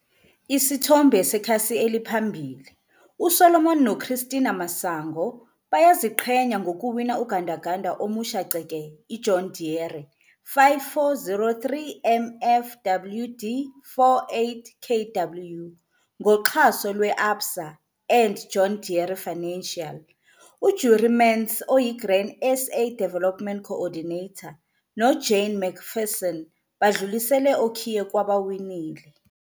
Isithombe sekhasi eliphambili- U-Solomon noChristina Masango, bayaziqhenya ngokuwina ugandaganda omusha ceke i-John Deere 5403 MFWD 48 kW, ngoxhaso lwe-ABSA and John Deere Financial. U-Jurie Mentz, oyi-Grain SA Development Co-ordinator, no-Jane McPherson badlulisele okhiye kwabawinile.